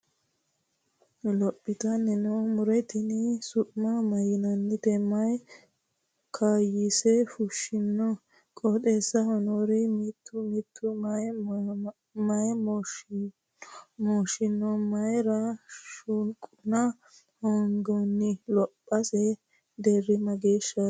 Lophoattanni noo muro tinni su'ma mayiinnanni? Mayi kayiise fushinno? qoxeessisera noore mito mito may mooshshinno? Mayiira shuqunna hoongoonni? Lophosse deeri mageeshaati?